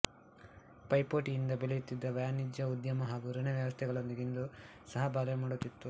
ಪೈಪೋಟಿಯಂದ ಬೆಳೆಯುತ್ತಿದ್ದ ವಾಣಿಜ್ಯ ಉದ್ಯಮ ಹಾಗೂ ಋಣ ವ್ಯವಸ್ಥೆಗಳೊಂದಿಗೆ ಇದು ಸಹ ಬಾಳ್ವೆ ಮಾಡುತ್ತಿತ್ತು